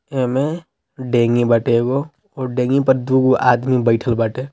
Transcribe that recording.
एमे ढेगी बटेगो ओर डेगी पे दूगो आदमी बैठल बाटे।